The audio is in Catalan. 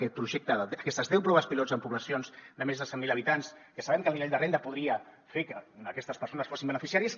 aquest projecte aquestes deu proves pilot en poblacions de més de cent mil habitants que sabem que el nivell de renda podria fer que aquestes persones en fossin beneficiàries